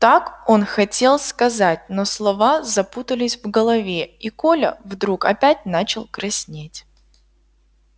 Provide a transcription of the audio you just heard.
так он хотел сказать но слова запутались в голове и коля вдруг опять начал краснеть